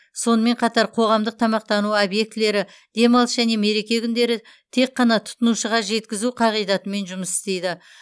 сонымен қатар қоғамдық тамақтану объектілері демалыс және мереке күндері тек қана тұтынушыға жеткізу қағидатымен жұмыс істейді